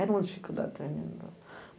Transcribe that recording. Era uma dificuldade tremenda.